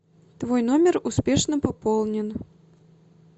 твой номер успешно пополнен